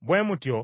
Bwe mutyo